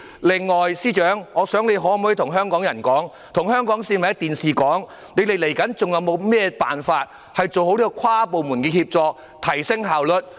另外，司長，你可否透過電視直播向香港市民說明，你們還有甚麼辦法做好跨部門協作，從而提升效率？